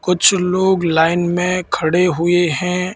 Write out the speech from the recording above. कुछ लोग लाइन में खड़े हुए हैं।